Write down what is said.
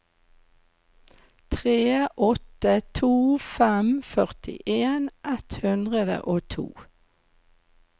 tre åtte to fem førtien ett hundre og to